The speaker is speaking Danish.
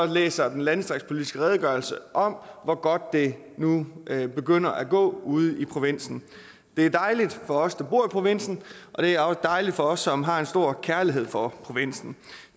læser den landdistriktspolitiske redegørelse om hvor godt det nu begynder at gå ude i provinsen det er dejligt for os der bor i provinsen og det er også dejligt for os som har en stor kærlighed for provinsen